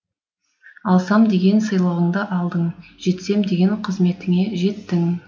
алсам деген сыйлығыңды алдың жетсем деген қызметіңе жеттің